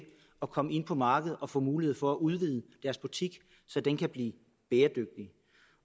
at komme ind på markedet og få mulighed for at udvide butikken så den kan blive bæredygtig